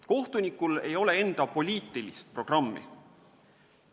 Kohtunikul ei ole enda poliitilist programmi.